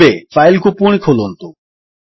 ଏବେ ଫାଇଲ୍ କୁ ପୁଣି ଖୋଲନ୍ତୁ